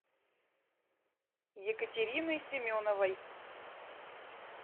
екатерины семеновой